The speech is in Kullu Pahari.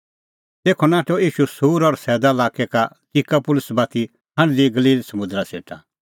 तेखअ नाठअ ईशू सूर और सैदा लाक्कै का दिकापुलिस बाती हांढदी गलील समुंदरा सेटा